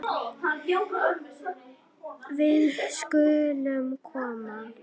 Við skulum koma